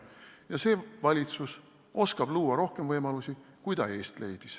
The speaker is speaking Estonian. " Ja see valitsus oskab luua rohkem võimalusi, kui ta eest leidis.